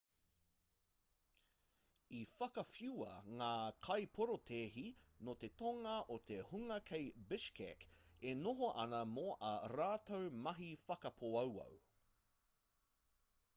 i whakawhiua ngā kaiporotēhi nō te tonga e te hunga kei bishkek e noho ana mō ā rātou mahi whakapōauau